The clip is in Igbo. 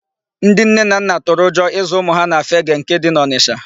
Ndị nne na nna tụrụ ụjọ ịzụ ụmụ ha na Fegee nke dị n'Ọnisha.